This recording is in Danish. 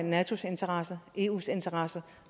natos interesser eus interesser